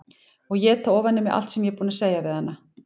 Og éta ofan í mig allt sem ég var búin að segja við hana.